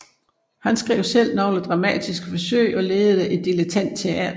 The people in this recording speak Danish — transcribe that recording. Han skrev selv nogle dramatiske forsøg og ledede et dilettantteater